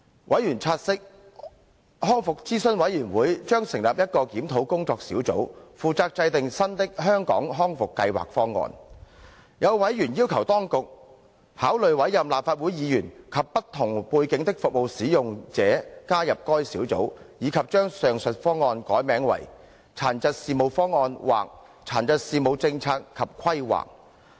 委員察悉，康復諮詢委員會將成立一個檢討工作小組，負責制訂新的"香港康復計劃方案"。有委員要求當局，考慮委任立法會議員及不同背景的服務使用者加入該小組，以及將上述方案改名為"殘疾事務方案"或"殘疾事務政策及規劃"。